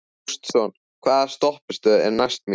Gaston, hvaða stoppistöð er næst mér?